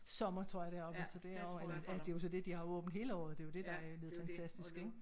Sommer tror jeg deroppe og så det er jo eller at det jo så dét de har åbent hele året det jo dét der er blevet fantastisk ik